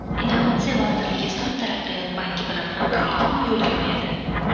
Innovatsiya vazirligi Islom taraqqiyot banki bilan hamkorlikni yo‘lga qo‘yadi.